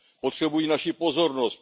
Potřebují naši pozornost.